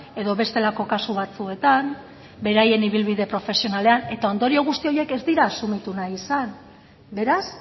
edo bestelako kasu batzuetan beraien ibilbide profesionalean eta ondorio guzti horiek ez dira asumitu nahi izan beraz